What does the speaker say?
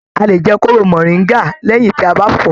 A lè jẹ kóró moringa lẹyìn tí a bá fọ.